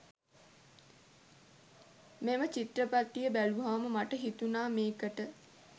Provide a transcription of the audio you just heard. මේ චිත්‍රපටය බැලුවහම මට හිතුණා මේකට